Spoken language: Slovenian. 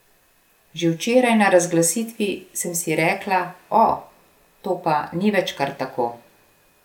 Že včeraj na razglasitvi sem si rekla, o, to pa ni več kar tako.